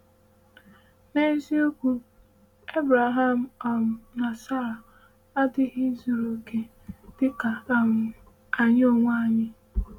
N’eziokwu, Abraham um na Sara adịghị zuru okè, dịka um anyị onwe anyị.